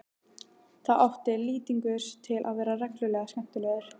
Þá átti Lýtingur til að vera reglulega skemmtilegur.